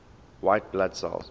white blood cells